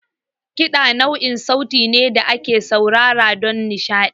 Kiɗa nau'in sauti ne da ake saurare don nishaɗi.